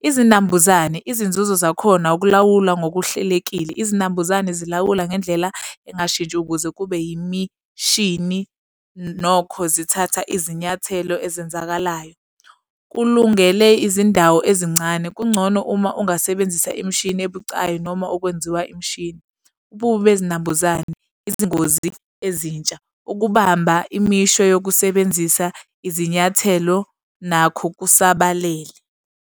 Izinambuzane, izinzuzo zakhona ukulawula ngokuhlelekile. Izinambuzane zilawula ngendlela engashintshi ukuze kube imishini nokho zithatha izinyathelo ezenzakalayo kulungele izindawo ezincane. Kungcono uma ungasebenzisa imishini ebucayi noma ukwenziwa imishini. Ububi bezinambuzane, izingozi ezintsha. Ukubamba imisho yokusebenzisa izinyathelo nakho kusabalele.